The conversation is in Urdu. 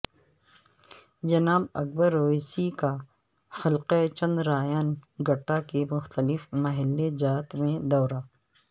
جناب اکبر اویسی کا حلقہ چندرائن گٹہ کے مختلف محلہ جات میں دورہ